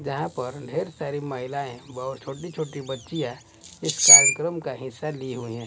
जहां पर ढेर सारी महिलाएं बहोत छोटी छोटी बच्चीया इस कार्यक्रम का हिस्सा ली हुई है।